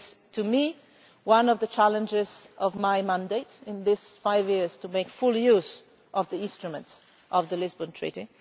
To me, one of the challenges of my mandate in these five years is to make full use of the instruments of the Lisbon Treaty.